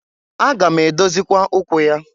Aga m edozịkwa ụkwụ ya.